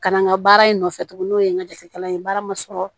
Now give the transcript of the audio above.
Ka na n ka baara in nɔfɛ tugun n'o ye n ka jatekɛla ye baara ma sɔrɔ